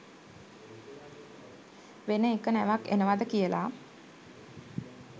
වෙන එක නැවක් එනවද කියලා